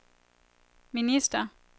minister